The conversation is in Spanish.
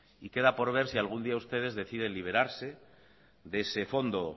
y queda por ver si algún día ustedes deciden liberarse de ese fondo